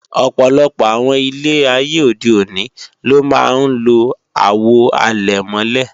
Ọ̀pọ̀lọpọ̀ àwọn ilé ayé òde òní ló máa ń lo Àwo àlẹ̀mọ́lẹ̀